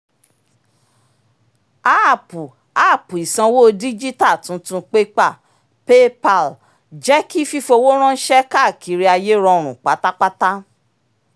àápú app ìsanwó díjítà tuntun pépà paypal jẹ́ kí fífowó ránṣẹ́ káàkiri ayé rọrùn pátápátá